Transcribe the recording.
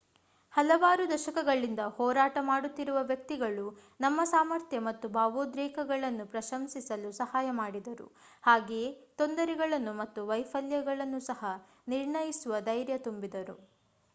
ಹಲವಾರು ದಶಕಗಳಿಂದ ಹೋರಾಟ ಮಾಡುತ್ತಿರುವ ವ್ಯಕ್ತಿಗಳು ನಮ್ಮ ಸಾಮರ್ಥ್ಯ ಮತ್ತು ಭಾವೋದ್ರೇಕಗಳನ್ನು ಪ್ರಶಂಸಿಸಲು ಸಹಾಯ ಮಾಡಿದರು ಹಾಗೆಯೇ ತೊಂದರೆಗಳನ್ನು ಮತ್ತು ವೈಫಲ್ಯಗಳನ್ನು ಸಹ ನಿರ್ಣಯಿಸುವ ಧೈರ್ಯ ತುಂಬಿದರು